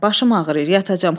Başım ağrıyır, yatacam.